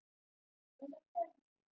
eða hvergi.